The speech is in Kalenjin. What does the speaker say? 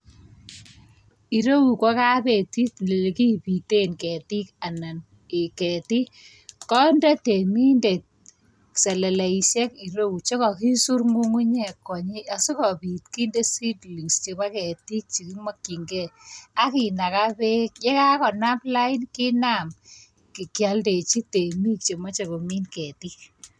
Ireu ko kabetiit ole kibiten keetik anan ketik, konde temindet seleleisiek ireyu chekokisuur ngungunyek konyii. Asikobiit kinde seedlings chebo keetik chekinokyingei. Ak kinagaa beek ya kakonaam lain, kinaam kioldechi teemik chemoche komin keetik.